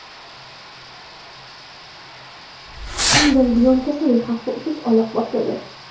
Shundan buyon kasallik xavfli tus ola boshladi.